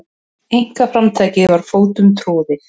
Einkaframtakið var fótum troðið.